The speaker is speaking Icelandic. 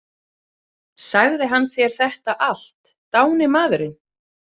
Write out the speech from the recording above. Sagði hann þér þetta allt, dáni maðurinn?